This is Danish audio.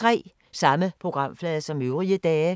Samme programflade som øvrige dage